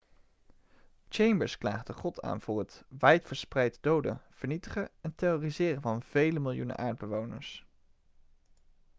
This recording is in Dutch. chambers klaagde god aan voor het wijdverspreid doden vernietigen en terroriseren van vele miljoenen aardbewoners'